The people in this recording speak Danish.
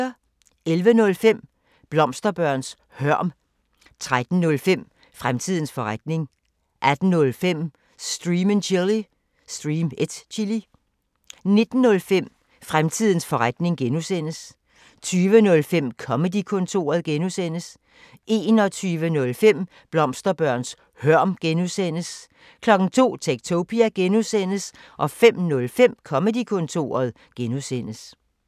11:05: Blomsterbørns hørm 13:05: Fremtidens forretning 18:05: Stream & Chill 19:05: Fremtidens forretning (G) 20:05: Comedy-kontoret (G) 21:05: Blomsterbørns hørm (G) 02:00: Techtopia (G) 05:05: Comedy-kontoret (G)